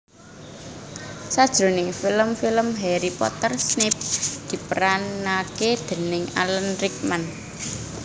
Sajroning film film Harry Potter Snape diperanake déning Alan Rickman